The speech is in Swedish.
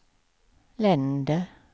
länder